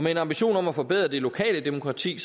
en ambition om at forbedre det lokale demokrati